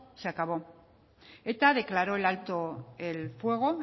se ha acabado eta declaró el alto el fuego